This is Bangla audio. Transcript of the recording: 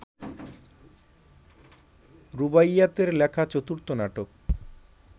রুবাইয়াৎয়ের লেখা চতুর্থ নাটক